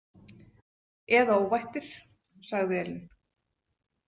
Eða óvættir, sagði Elín.